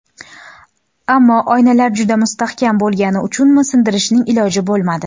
Ammo oynalar juda mustahkam bo‘lgani uchunmi, sindirishning iloji bo‘lmadi.